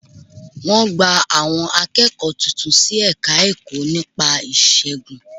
Wọ́n gba àwọn akẹ́kọ̀ọ́ tuntun sí Ẹ̀ka-ẹ̀kọ́ nípa ìṣègùn